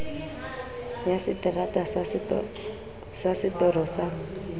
ya seterata sa setoro sa